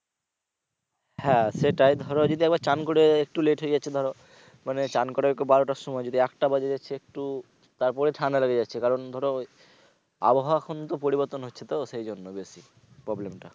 হ্যা সেটাই ধরো যদি একবার স্নান করে একটু লেট হয়ে যাচ্ছে ধরো মানে স্নান করে বারোটার সময় যদি একটা বাজে সে একটু তারপরে ঠান্ডা লেগে যাচ্ছে ধরো আবহাওয়া কিন্তু পরিবর্তন হচ্ছে তো সেইজন্য বেশি problem টা